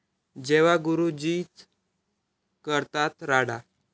जेव्हा गुरुजीच करतात राडा!